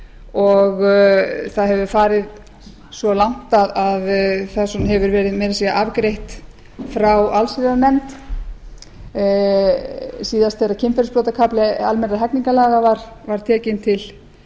og það hefur farið svo langt að það hefur meira að segja verið afgreitt frá allsherjarnefnd síðast þegar kynferðisbrotakafli almennra hegningarlaga var tekinn til